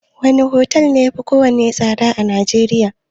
Wane otel ne yafi kowanne tsada a Najeriya?